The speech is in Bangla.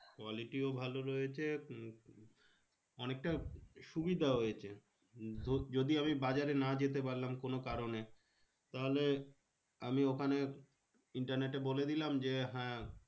Quality ও ভালো রয়েছে উম অনেকটা সুবিধা হয়েছে। যদি আমি বাজারে না যেতে পারলাম কোনো কারণে? তাহলে আমি ওখানে internet এ বলেদিলাম যে, হ্যাঁ